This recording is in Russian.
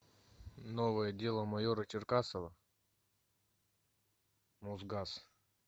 новое дело майора черкасова мосгаз